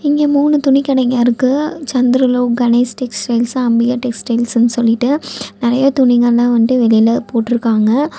இங்க மூணு துணி கடைங்க இருக்கு. சந்திரலோக் கணேஷ் டெக்ஸ்டைல்ஸ் அம்பிகா டெக்ஸ்டைல்ஸ்னு சொல்லிட்டு. நறைய துணிகலா வந்து வெளில போட்டுருக்காங்க.